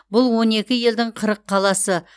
бұл он екі елдің қырық қаласы